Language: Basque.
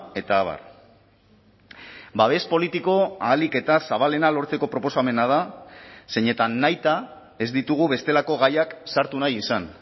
eta abar babes politiko ahalik eta zabalena lortzeko proposamena da zeinetan nahita ez ditugu bestelako gaiak sartu nahi izan